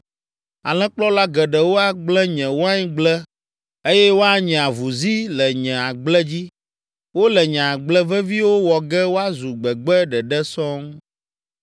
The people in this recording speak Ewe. Alẽkplɔla geɖewo agblẽ nye waingble eye woanye avuzi le nye agble dzi. Wole nye agble veviwo wɔ ge woazu gbegbe ɖeɖe sɔŋ.